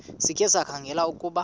sikhe sikhangele ukuba